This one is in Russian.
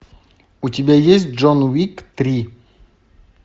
у тебя есть джон уик три